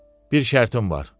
Bir şərtim var.